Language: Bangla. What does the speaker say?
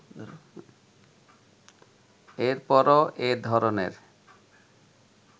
এরপরও এ ধরনের